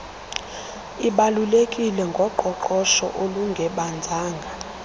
ibalulekileyo ngoqoqosho olungebanzanga